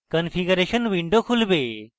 configuration window খুলবে